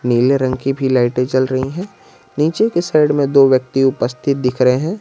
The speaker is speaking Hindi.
नीले रंग की भी लाइटें जल रही है नीचे के साइड में दो व्यक्ति उपस्थित दिख रहे है।